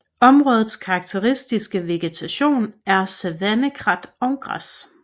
Områdets karakteristiske vegetation er savannekrat og græs